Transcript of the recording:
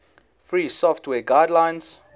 free software guidelines